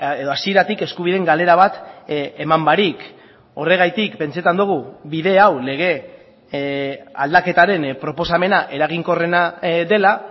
edo hasieratik eskubideen galera bat eman barik horregatik pentsatzen dugu bide hau lege aldaketaren proposamena eraginkorrena dela